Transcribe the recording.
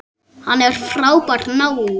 Hann er frábær náungi.